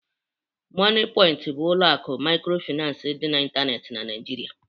Moniepoint bụ ụlọ akụ microfinance dị n'ịntanetị na Nigeria